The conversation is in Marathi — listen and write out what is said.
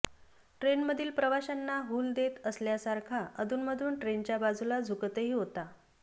ट्रेनमधील प्रवाश्यांना हूल देत असल्यासारखा अधूनमधून ट्रेनच्या बाजूला झुकतही होता